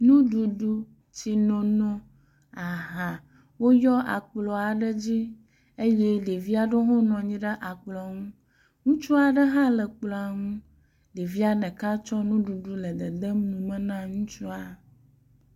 Nuɖuɖu, tsinoni, aha woyɔ akplɔ aɖe dzi eye ɖevi ɖewo hã nɔ anyi ɖe akplɔ ŋu. Ŋutsu aɖe hã le akplɔ nu ɖevia ɖeka tsɔ nuɖuɖu nɔ ddem numen a ŋutsua.